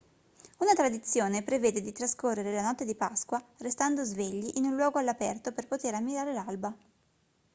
una tradizione prevede di trascorrere la notte di pasqua restando svegli in un luogo all'aperto per poter ammirare l'alba